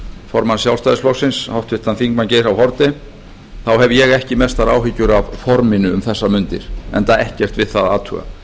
formann sjálfstæðisflokksins háttvirtur þingmaður geir h haarde þá hef ég ekki mestar áhyggjur af forminu um þessar mundir enda ekkert við það að athuga